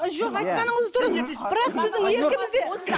жоқ айтқаныңыз дұрыс бірақ біздің еркімізде